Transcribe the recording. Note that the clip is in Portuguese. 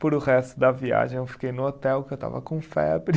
Puro, o resto da viagem, eu fiquei no hotel, porque eu estava com febre.